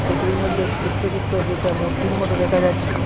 কুটির মধ্যে একটু একটু দুটো দুইটা মূর্তির মতো দেখা যাচ্ছে।